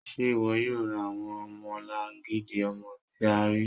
Ṣé iwó̩ yóò rá awọn ọmọ̀làngídì ọmọ̀ tì à ríí?